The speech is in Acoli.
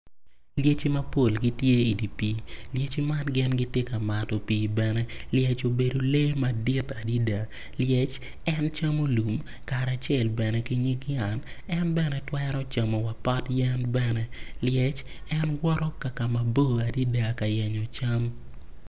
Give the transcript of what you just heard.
Lyeci mapol gitye idye pii lyeci man gitye ka mato pii bene lyec obedo lee madit adada lyec en camo lum kace bene ki nyig yat en bene twero camo wa pot yen bene lyec en woto kakama bor adada ka yenyo cam.